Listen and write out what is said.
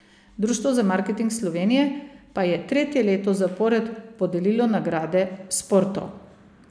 Društvo za marketing Slovenije pa je tretje leto zapored podelilo nagrade Sporto.